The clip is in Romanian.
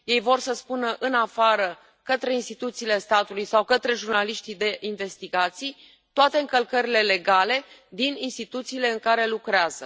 Ei vor să spună în afară, către instituțiile statului sau către jurnaliștii de investigații, toate încălcările legale din instituțiile în care lucrează.